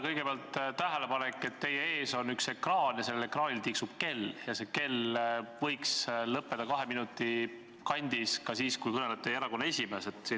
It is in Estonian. Kõigepealt tähelepanek, et teie ees on üks ekraan ja sellel ekraanil tiksub kell, ja see kell võiks seisma jääda kahe minuti kandis ka siis, kui kõneleb teie erakonna esimees.